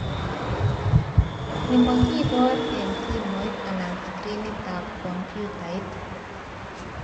Ni makibor eng simoit ana screenitab komputait